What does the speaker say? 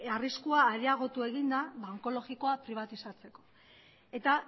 arriskua areagotu egin da onkologikoa pribatizatzeko eta